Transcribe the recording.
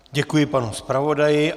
Děkuji panu zpravodaji.